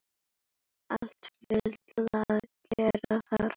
Alltaf fullt að gera þar!